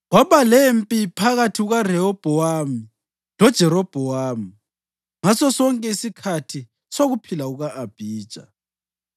Kwaba lempi phakathi kukaRehobhowami loJerobhowamu ngasosonke isikhathi sokuphila kuka-Abhija.